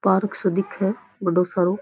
Park सो दिखे बड़ो सारो।